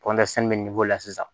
bɛ la sisan